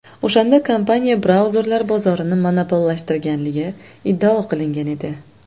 O‘shanda kompaniya brauzerlar bozorini monopollashtirganligi iddao qilingan edi.